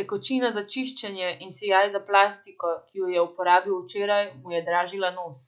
tekočina za čiščenje in sijaj za plastiko, ki jo je uporabil včeraj, mu je dražila nos.